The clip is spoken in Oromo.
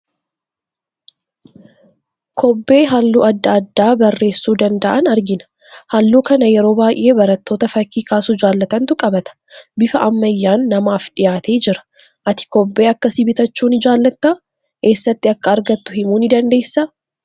Kobbee halluu adda addaa barreessuu danda'an argina. Halluu kana yeroo baay'ee barattoota fakkii kaasuu jaalatantu qabata. Bifa ammayyaan namaaf dhiyaatee jira. Ati kobbee akkasii bitachuu ni jaalattaa? Eessaati akka argattu himuu dandeessaa?